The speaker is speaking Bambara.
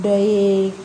Dɔ ye